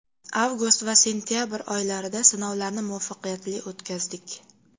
Avgust va sentabr oylarida sinovlarni muvaffaqiyatli o‘tkazdik.